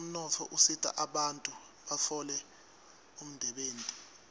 umnotfo usita bantfu batfole umdebenti